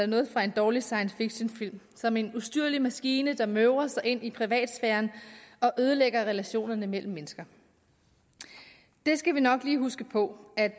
noget fra en dårlig science fiction film som en ustyrlig maskine der møver sig ind i privatsfæren og ødelægger relationerne mellem mennesker vi skal nok lige huske på at